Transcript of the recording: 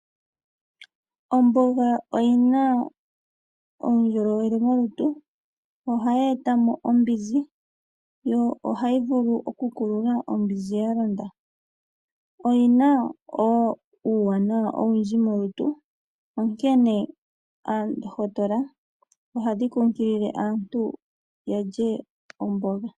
Omboga oyi na uundjolowele molutu. Ohayi eta mo ombinzi, yo ohayi vulu okukulula ombinzi ya londa. Oyina uuwanawa owundji molutu onkene oondohotola ohadhi kunkilile aantu yalye omboga.